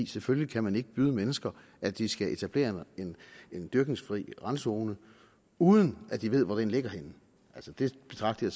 selvfølgelig kan man ikke byde mennesker at de skal etablere en dyrkningsfri randzone uden at de ved hvor den ligger henne det betragter